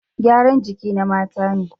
Gyaran jiki na mata ne